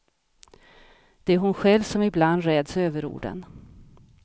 Det är hon själv som ibland räds överorden.